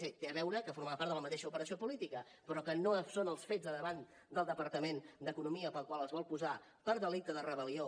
sí té a veure que formava part de la mateixa operació política però que no són els fets de davant del departament d’economia pels quals es vol posar per delicte de rebel·lió